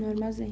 No armazém.